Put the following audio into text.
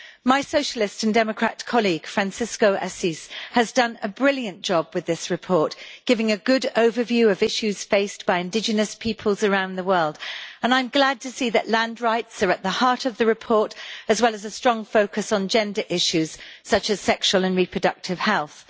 My Socialist and Democrat colleague, Francisco Assis, has done a brilliant job with this report, giving a good overview of issues faced by indigenous peoples around the world and I am glad to see that land rights are at the heart of the report, as well as a strong focus on gender issues, such as sexual and reproductive health.